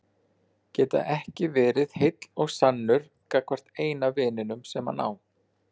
Geta ekki verið heill og sannur gagnvart eina vininum sem hann á.